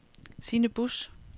Sine Busch